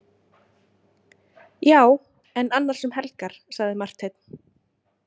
Já, en annars um helgar, sagði Marteinn.